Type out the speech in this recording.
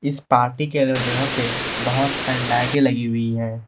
इस पार्टी के लोग जहां पे बहोत सारी लाइटें लगी हुई है।